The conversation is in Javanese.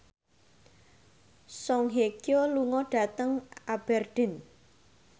Song Hye Kyo lunga dhateng Aberdeen